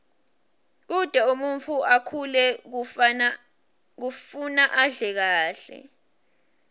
kute umuntfu akhule kufuna adle kahle